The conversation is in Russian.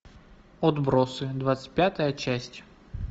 отбросы двадцать пятая часть